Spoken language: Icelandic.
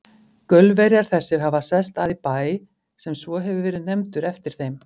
Gaulverjar þessir hafa sest að í Bæ, sem svo hefur verið nefndur eftir þeim.